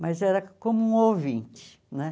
Mas era como um ouvinte, né?